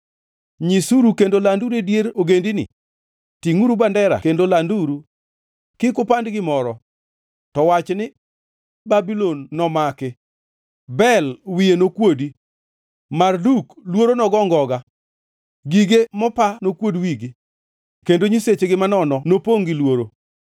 “Nyisuru kendo landuru e dier ogendini, tingʼuru bandera kendo landuru; kik upand gimoro, to wachni, ‘Babulon nomaki; Bel wiye nokuodi, Marduk luoro nogo ngoga. Gige mopa nokuod wigi kendo nyisechegi manono nopongʼ gi luoro.’